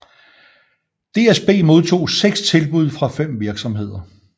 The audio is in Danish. DSB modtog seks tilbud fra fem virksomheder